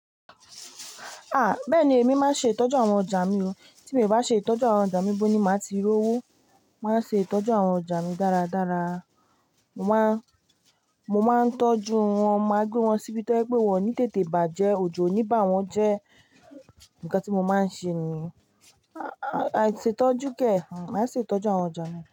Ah! Bẹ́ẹ̀ni èmi máa ń ṣe ìtọ́jú àwọn ọjà mi o. Tí mi o bá ṣe ìtọ́jú àwọn ọjà mi bó ní máa ti rówó, màá ṣe ìtọ́jú àwọn ọjà mi dáradára. Mo máa, mo máa ń tọ́jú wọn, màá gbé wọn síbi tó jẹ́ pe wọ́n ní tètè bàjẹ́, òjò ò ní bà wọ́n jẹ́ ńǹkan tí mo máa ń ṣe ni. Àìṣètọ́jú kẹ̀, maa ṣètọ́jú àwọn ọjà mi.